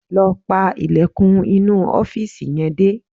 Lọ pa ilẹ̀kùn inú ọ́fìsì yẹn dé